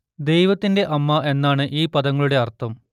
ദൈവത്തിന്റെ അമ്മ എന്നാണ് ഈ പദങ്ങളുടെ അർത്ഥം